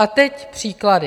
A teď příklady.